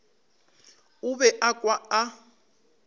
o be a kwa a